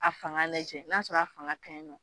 A fanga lajɛ n'a sɔrɔ a fanga kaɲi nɔ